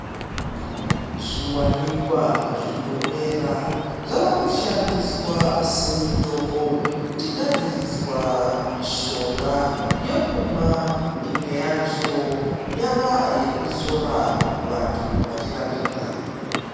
Zviwanikwa zvinomera zvavakushandiswa semitombo kuchigadziriswa mishonga yekumwa, imwe yacho yava yekuzora vantu vachirapika.